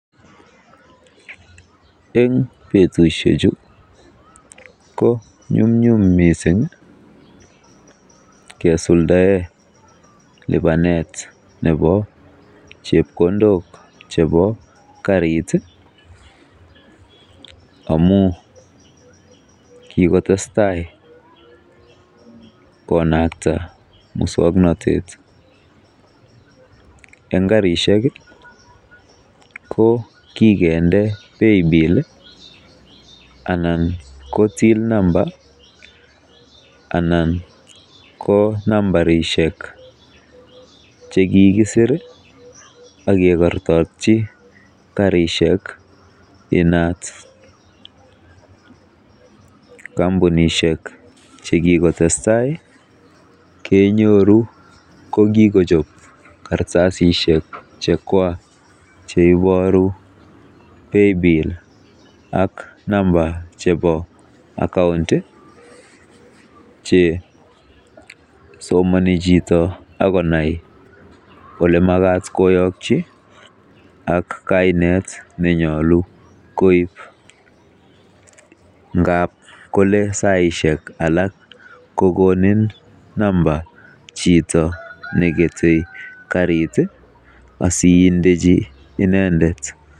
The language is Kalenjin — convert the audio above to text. En betusheju ko nyumnyum mising kesuldaen lipanet ab chepkondok chebo karit amun kigotestai konakta muswoknatet, en karishek i ko kigende paybill anan ko till number anan ko nambarisiek che kigisir ak kigortotyi karishek inat. Kompunishek che kigotestai kenyoru ko kigochop kartasisiek che chwak che iboru paybill ak number chebo account che somoni chito ak konai kole magat koyokyi ak kainet nenyolu koib. Ngab kole saishek alak kogoniin namba chito negete karit asiindechi inendet